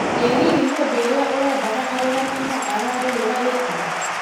Ĩ hihi mũndũ ũrĩa ũrendaga arũgame no ararũĩra gĩtĩ?